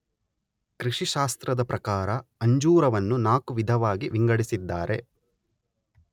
ಕೃಷಿಶಾಸ್ತ್ರದ ಪ್ರಕಾರ ಅಂಜೂರವನ್ನು ನಾಕು ವಿಧವಾಗಿ ವಿಂಗಡಿಸಿದ್ದಾರೆ.